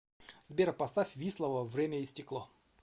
сбер поставь вислово время и стекло